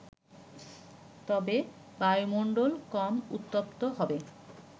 তবে বায়ুমণ্ডল কম উত্তপ্ত হবে